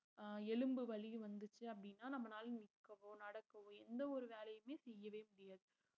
அஹ் எலும்பு வலிக வந்துச்சு அப்படினா நம்பனால நிக்கவோ நடக்கவோ எந்த ஒரு வேலையுமே செய்யவே முடியாது